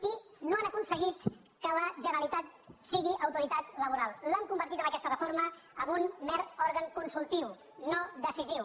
i no han aconseguit que la generalitat si·gui autoritat laboral l’han convertit amb aquesta refor·ma en un mer òrgan consultiu no decisiu